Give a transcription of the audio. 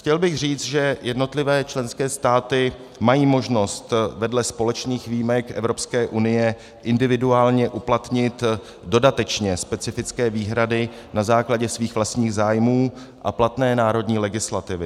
Chtěl bych říct, že jednotlivé členské státy mají možnost vedle společných výjimek Evropské unie individuálně uplatnit dodatečně specifické výhrady na základě svých vlastních zájmů a platné národní legislativy.